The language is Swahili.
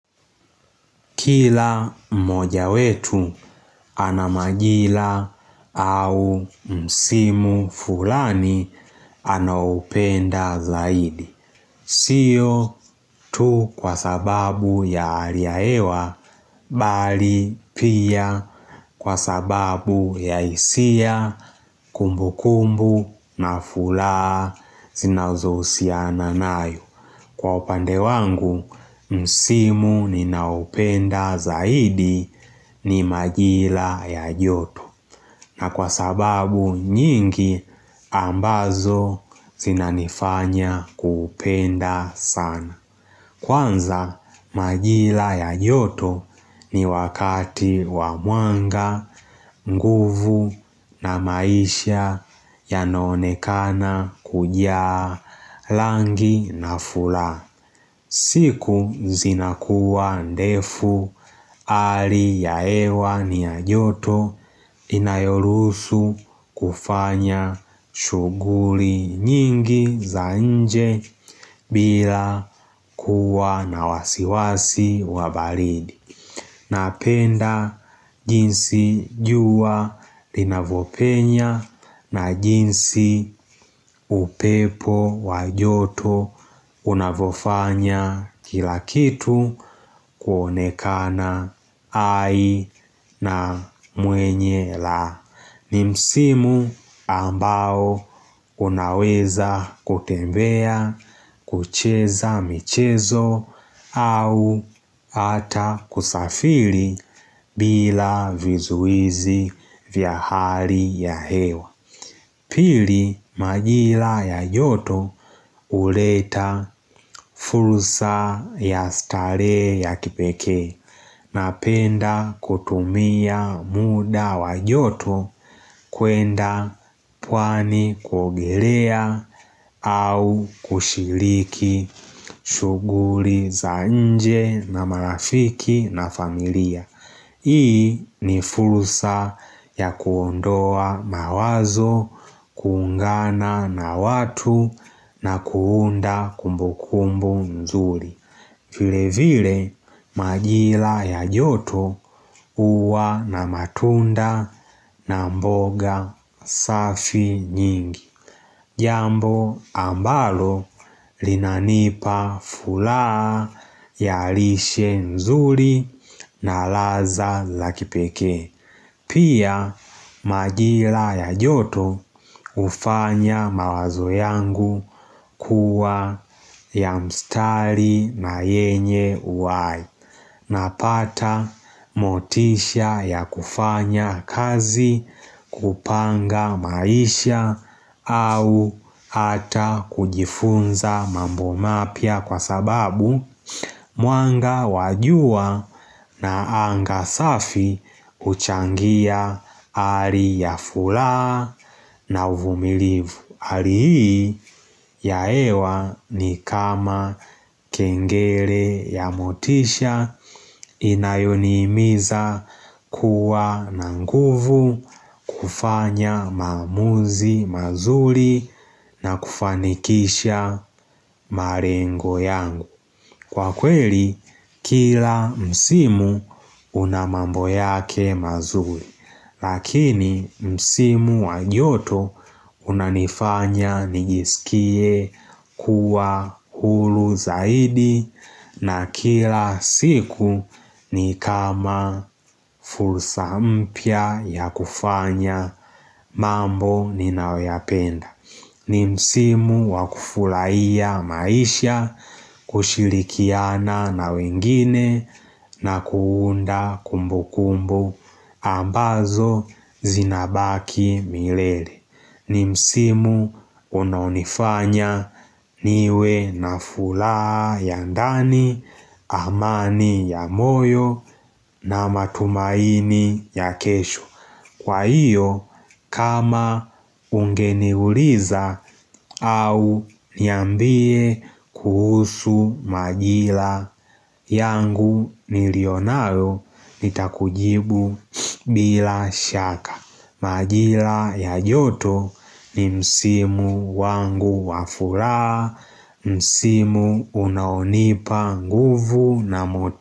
Kila mmoja wetu ana majira au msimu fulani anaoupenda zaidi. Sio tu kwa sababu ya hali ya hewa, Bali pia kwa sababu ya hisia, kumbukumbu na furaha zinazohusiana nayo. Kwa upande wangu, msimu ninaoupenda zaidi ni majira ya joto. Na kwa sababu nyingi, ambazo zinanifanya kuupenda sana. Kwanza, majira ya joto ni wakati wa mwanga nguvu na maisha yanonekana, kujaa, rangi na furaha. Siku zinakuwa ndefu, hali ya hewa ni ya joto inayoruhusu kufanya shuguli nyingi za nje bila kuwa na wasiwasi wa baridi. Napenda jinsi jua linavyopenya na jinsi upepo wa joto unavofanya kila kitu kuonekana hai na mwenye raha ni msimu ambao unaweza kutembea, kucheza michezo au hata kusafiri bila vizuizi vya hali ya hewa. Pili, majira ya joto huleta fursa ya starehe ya kipekee. Napenda kutumia muda wa joto kuenda pwani kuogelea au kushiriki shuguli za nje na marafiki na familia. Hii ni fursa ya kuondoa mawazo, kuungana na watu na kuunda kumbukumbu nzuri. Vile vile, majira ya joto huwa na matunda na mboga safi nyingi. Jambo ambalo linanipa furaha ya lishe nzuri na raha za kipeke Pia majira ya joto ufanya mawazo yangu kuwa ya mstari na yenye uhai. Napata motisha ya kufanya kazi, kupanga maisha au hata kujifunza mambo mapya kwa sababu mwanga wa jua na anga safi huchangia hali ya furaha na uvumilivu. Hali hii ya hewa ni kama kengele ya motisha inayonihimiza kuwa na nguvu kufanya maamuzi mazuri na kufanikisha malengo yangu. Kwa kweli, kila msimu una mambo yake mazuri, lakini msimu wa joto unanifanya nijisikie kuwa huru zaidi na kila siku ni kama fursa mpya ya kufanya mambo ninayoyapenda. Ni msimu wakufurahia maisha, kushirikiana na wengine na kuunda kumbukumbu ambazo zinabaki milele. Ni msimu unaonifanya niwe na furaha ya ndani, amani ya moyo na matumaini ya kesho. Kwa hiyo, kama ungeniuliza au niambie kuhusu majira yangu nilionalo, nitakujibu bila shaka. Majila ya joto ni msimu wangu wa furaha, msimu unaonipa nguvu na motisha.